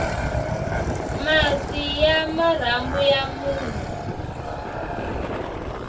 masi ya marhambu ya munhu